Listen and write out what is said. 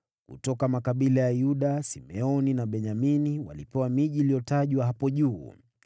Kutoka makabila ya Yuda, Simeoni na Benyamini walipewa miji iliyotajwa hapo juu.